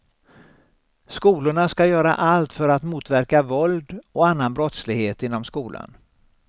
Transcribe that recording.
Skolorna ska göra allt för att motverka våld och annan brottslighet inom skolan.